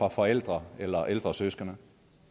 af forældre eller ældre søskende